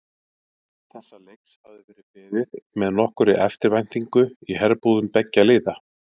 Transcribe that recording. Þessa leiks hafði verið beðið með nokkurri eftirvæntingu í herbúðum beggja liða.